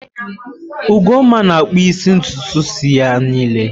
Ugonma na akpụsi ntụtụ isi ya nille.